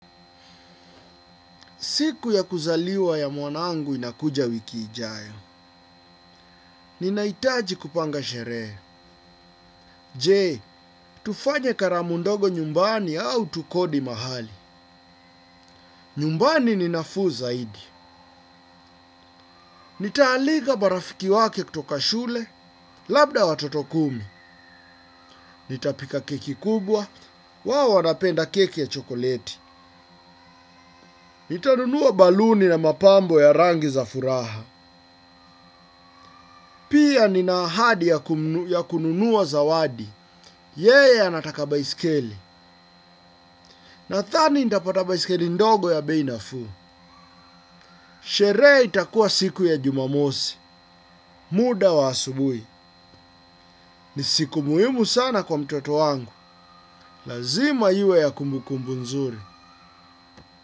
Siku ya kuzaliwa ya mwanangu inakuja wiki ijayo. Ninahitaji kupanga sherehe. Je tufanye kalamu ndogo nyumbani ama tukodi mahali nyumbani ni nafuu zaidi. Nitaalika marafiki wake kutoka shule, labda watoto kumi. Nitapika keki kubwa, wao wanapenda keki ya chokoleti. Nitanunua baluni na mapambo ya rangi za furaha. Pia ninaahadi ya kununua za lwadi. Yeye anataka baisikeli nadhani nitapata bsisikeli ndogo ya bei nafuu. Sherehe itakuwa siku ya jumamosi. Muda wa asubuhi ni siku muhimu sana kwa mtoto wangu lazima iwe ya kumbukumbu mzuri.